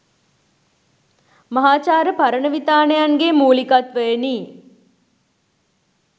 මහාචාර්ය පරණවිතාණයන්ගේ මූලිකත්වයෙනි.